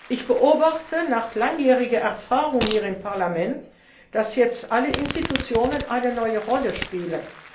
Ich beobachte nach langjähriger Erfahrung hier im Parlament, dass jetzt alle Organe eine neue Rolle spielen.